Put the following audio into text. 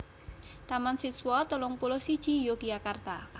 Taman Siswa telung puluh siji Yogyakarta